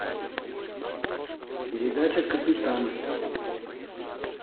передача капитан